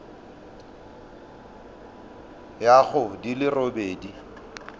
ya go di le robedi